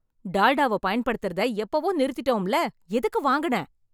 டால்டாவ பயன்படுத்தறத எப்பவோ நிறுத்திட்டோம்ல... எதுக்கு வாங்குன..